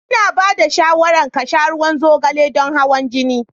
Ina ba da shawarar ka sha ruwan zogale don hawan jini.